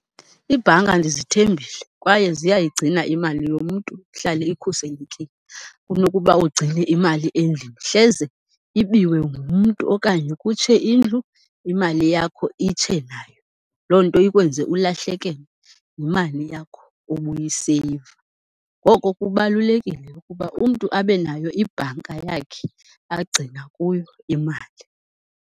Iibhanka ndizithembile kwaye ziyayigcina imali yomntu ihlale ikhuselekile kunokuba ugcine imali endlini. Hleze ibiwe ngumntu okanye kutshe indlu imali yakho itshe nayo, loo nto ikwenze ulahlekelwe yimali yakho ubuyiseyiva. Ngoko kubalulekile ukuba umntu abe nayo ibhanka yakhe agcina kuyo imali.